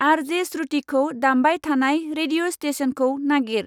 आर.जे.स्रुतिखौ दामबाय थानाय रेडिअ' स्टेसनखौ नागिर।